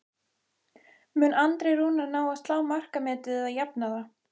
Mun Andri Rúnar ná að slá markametið eða jafna það?